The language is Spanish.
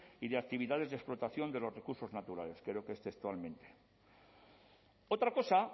y de actividades de explotación de los recursos naturales creo que es textualmente otra cosa